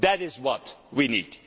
That is what we need.